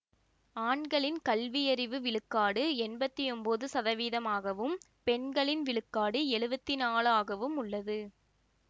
ஆண்களின் கல்வியறிவு விழுக்காடு எம்பத்தி ஒன்பது சதவீதமாகவும் பெண்களின் விழுக்காடு எழுவத்தி நாளாகவும் உள்ளது